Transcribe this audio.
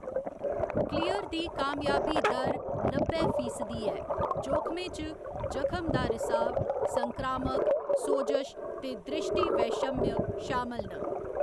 Clear दी कामयाबी दर नब्बै फीसदी ऐ जोखमें च जखम दा रिसाव, संक्रामक, सोजश ते दृष्टिवैषम्य शामल न।